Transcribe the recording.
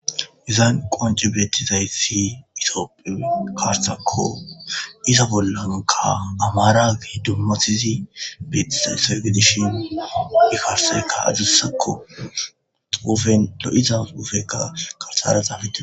Izan qonci beettizaysi itoopphe karsakko iza bollonka amaaragi dummatizi beetie segedishin ikarseka ajussakko uufen lo'izas uufeka karsara xaafete